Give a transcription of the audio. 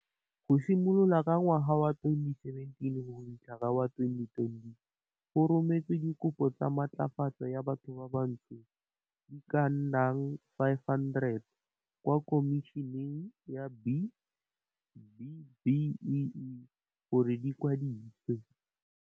Go simolola ka ngwaga wa 2017 go fitlha ka wa 2020, go rometswe dikopo tsa matlafatso ya bathobantsho di ka nna 500 kwa Khomišeneng ya B-BBEE gore di kwadisiwe.